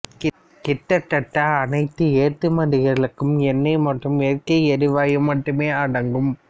கிட்டத்தட்ட அனைத்து ஏற்றுமதிகளுக்கும் எண்ணெய் மற்றும் இயற்கை எரிவாயு மட்டுமே அடங்கும்